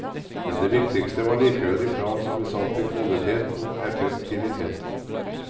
Men det viktigste var likevel de krav som ble satt til kvalitet og effektivitet.